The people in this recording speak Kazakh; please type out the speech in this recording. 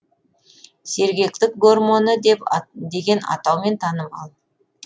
сергектік гормоны деген атаумен танымал